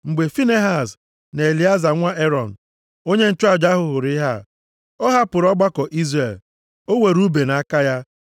Mgbe Finehaz na Elieza, nwa Erọn, onye nchụaja hụrụ ihe a, ọ hapụrụ ọgbakọ Izrel. O were ùbe nʼaka ya,